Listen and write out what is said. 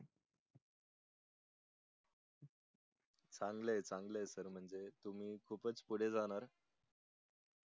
चांगलंय चांगलंय खूप च पुढे जाणार